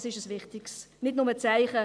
Es ist nicht nur ein wichtiges Zeichen.